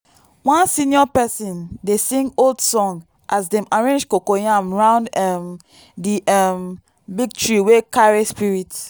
one senior person dey sing old song as dem arrange coco yam round um the um big tree wey carry spirit.